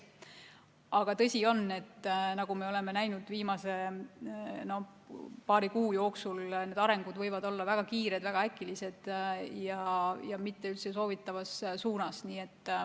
Aga tõsi on see, nagu me oleme viimase paari kuu jooksul näinud, et sündmuste areng võib olla väga kiire, väga äkiline ja mitte üldse soovitavas suunas.